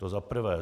To za prvé.